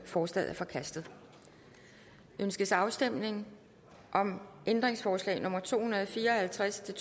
forslaget er forkastet ønskes afstemning om ændringsforslag nummer to hundrede og fire og halvtreds til